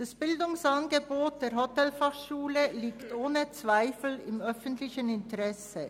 Das Bildungsangebot der Hotelfachschule liegt ohne Zweifel im öffentlichen Interesse.